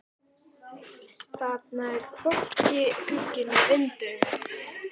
Þarna var hvorki gluggi né vindauga.